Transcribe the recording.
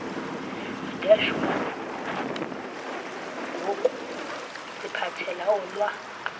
deshman ngokusiphathela olwa